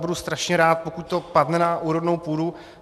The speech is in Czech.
Budu strašně rád, pokud to padne na úrodnou půdu.